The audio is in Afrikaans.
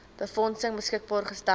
befondsing beskikbaar gestel